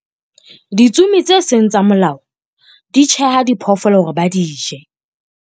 ditsomi tse seng tsa molao di tjheha diphoofolo hore ba di je